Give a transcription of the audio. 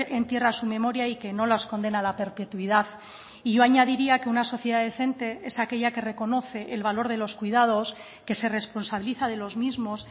entierra su memoria y que no las condena a la perpetuidad y yo añadiría que una sociedad decente es aquella que reconoce el valor de los cuidados que se responsabiliza de los mismos